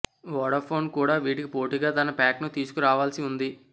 Vodafone కూడా వీటికి పోటీగా తన ప్యాక్ను తీసుకు రావాల్సి ఉంది